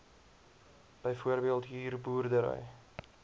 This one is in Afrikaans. byvoorbeeld huur boerdery